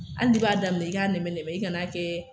Hali n'i b'a daminɛ i b'a nɛmɛ nɛmɛ i kan'a kɛ.